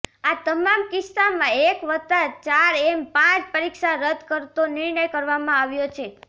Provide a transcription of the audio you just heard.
આ તમામ કિસ્સામાં એક વતા ચાર એમ પાંચ પરીક્ષા રદ્દ કરતો નિર્ણય કરવામાં આવ્યો છે